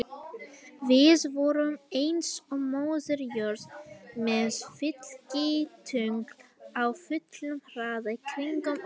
Við vorum eins og Móðir jörð með fylgitungl á fullum hraða í kringum okkur.